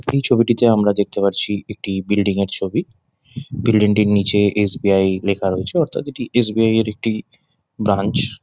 এই ছবিটিতে আমার দেখতে পারছি একটি বিল্ডিং -এর ছবি বিল্ডিং -টির নিচে এস. বি. আই. লেখা রয়েছে অর্থাৎ এটি এস. বি. আই. -এর একটি ব্রাঞ্চ ।